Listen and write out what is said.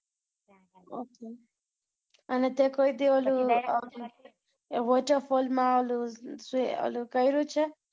Okay. અને તે કોઈ દી ઓલુ, waterfall માં ઓલુ, તે ઓલુ કર્યુ છે?